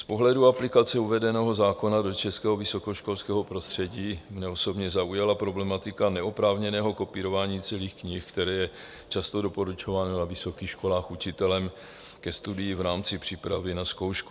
Z pohledu aplikace uvedeného zákona do českého vysokoškolského prostředí mě osobně zaujala problematika neoprávněného kopírování celých knih, které je často doporučováno na vysokých školách učitelem ke studiu v rámci přípravy na zkoušku.